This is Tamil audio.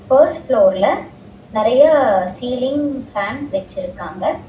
பர்ஸ்ட் ஃபுளோர்ல நெறையா சீலிங் ஃபேன் வெச்சுருக்காங்க.